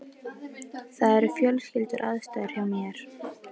Það eru fjölskylduaðstæður hjá mér.